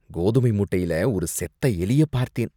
கோதுமை மூட்டையில ஒரு செத்த எலிய பார்த்தேன்.